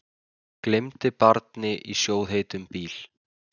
Gleymdi barni í sjóðheitum bíl